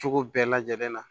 Cogo bɛɛ lajɛlen na